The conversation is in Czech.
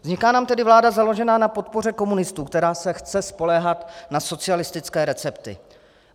Vzniká nám tedy vláda založená na podpoře komunistů, která se chce spoléhat na socialistické recepty.